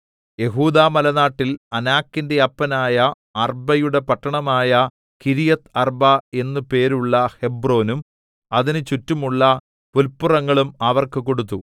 യെഹൂദാമലനാട്ടിൽ അനാക്കിന്റെ അപ്പനായ അർബ്ബയുടെ പട്ടണമായ കിര്യത്ത്അർബ എന്നു പേരുള്ള ഹെബ്രോനും അതിനുചുറ്റുമുള്ള പുല്പുറങ്ങളും അവർക്ക് കൊടുത്തു